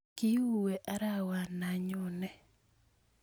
kiuwe arawana nyonee